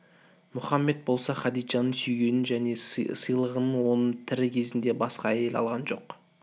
мұхаммед болса хадиджаны сүйгенінен және сыйлағанынан оның тірі кезінде басқа әйел алған жоқ